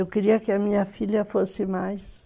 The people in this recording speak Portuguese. Eu queria que a minha filha fosse mais...